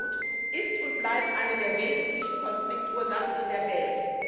Armut ist und bleibt eine der wesentlichen Konfliktursachen in der Welt.